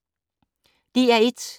DR1